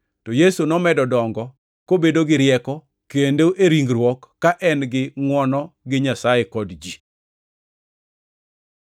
To Yesu nomedo dongo kobedo gi rieko kendo e ringruok, ka en gi ngʼwono gi Nyasaye kod ji.